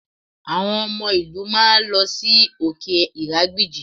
Àwọn ọmọ ìlú máa lọ sí òkè ìrágbìjí